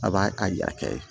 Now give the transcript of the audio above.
A b'a a kɛ